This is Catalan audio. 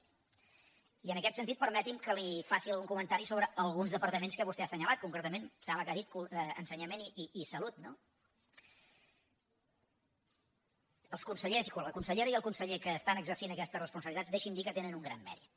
i en aquest sentit permeti’m que li faci algun comentari sobre alguns departaments que vostè ha assenyalat concretament em sembla que ha dit ensenyament i salut no la consellera i el conseller que estan exercint aquestes responsabilitats deixi’m dir que tenen un gran mèrit